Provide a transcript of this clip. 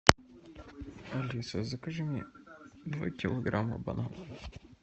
алиса закажи мне два килограмма бананов